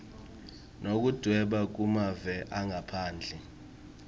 yekudvweba kumave angaphandle